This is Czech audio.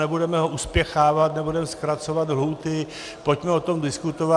Nebudeme ho uspěchávat, nebudeme zkracovat lhůty, pojďme o tom diskutovat.